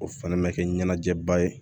O fana mɛ kɛ ɲɛnajɛba ye